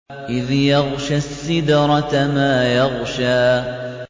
إِذْ يَغْشَى السِّدْرَةَ مَا يَغْشَىٰ